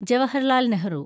Jawaharlal Nehru